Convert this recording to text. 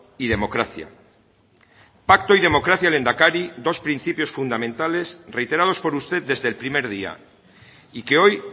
y democracia pacto y democracia lehendakari dos principios fundamentales reiterados por usted desde el primer día y que hoy